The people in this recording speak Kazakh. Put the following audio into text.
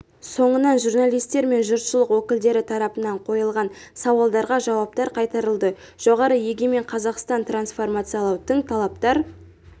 соңынан журналистер мен жұртшылық өкілдері тарапынан қойылған сауалдарға жауаптар қайтарылды жоғары егемен қазақстан трансформациялау тың талаптар